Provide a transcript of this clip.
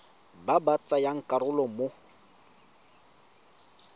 ba ba tsayang karolo mo